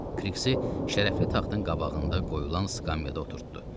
Kriksi şərəfli taxtın qabağında qoyulan skamyada oturtdurdu.